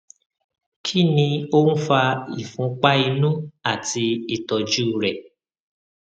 kí ni ó ń fa ìfunpá inú àti ìtọjú rẹ